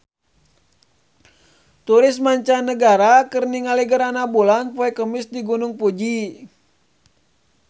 Turis mancanagara keur ningali gerhana bulan poe Kemis di Gunung Fuji